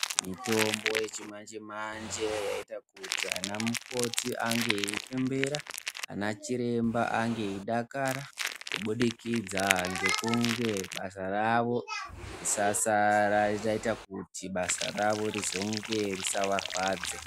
mitombo yechimanje-manje, yaita kuti ana mukoti ange iepembera, anachiremba ane eidakara, kubudikidza ngekunge basa ravo risasara risaita kuti basa ravo rizonge risavarwadze.